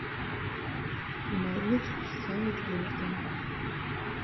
норвич саутгемптон